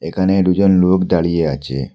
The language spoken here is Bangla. এখানে ডুজন লোক দাঁড়িয়ে আচে।